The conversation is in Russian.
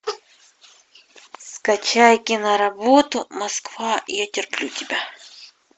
скачай киноработу москва я терплю тебя